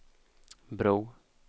bro